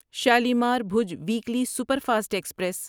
Shalimar Bhuj weekly superfast express